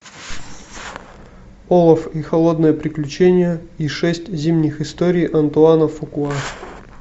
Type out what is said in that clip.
олаф и холодное приключение и шесть зимних историй антуана фукуа